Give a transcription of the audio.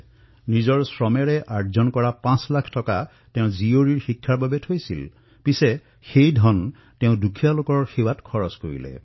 নিজৰ পৰিশ্ৰমৰ ধনেৰে তেওঁ নিজৰ কন্যাৰ অধ্যয়নৰ বাবে পাঁচ লাখ টকা সঞ্চয় কৰিছিল কিন্তু তেওঁ সমগ্ৰ ৰাশি অভাৱগ্ৰস্ত দৰিদ্ৰসকলৰ বাবে ব্যয় কৰিলে